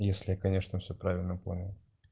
если я конечно всё правильно понял